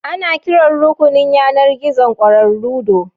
Ana kiran rukunin yanar gizon ƙwararru do